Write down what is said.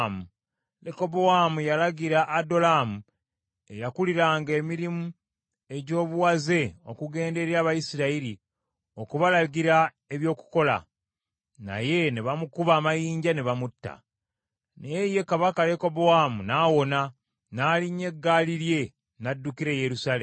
Lekobowaamu yalagira Adolaamu eyakuliranga emirimu egy’obuwaze okugenda eri Abayisirayiri, okubalagira eby’okukola, naye ne bamukuba amayinja ne bamutta. Naye ye Kabaka Lekobowaamu n’awona, n’alinnya eggaali lye n’addukira e Yerusaalemi.